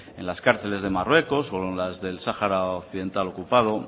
en las cárceles de marruecos o las del sahara occidental ocupado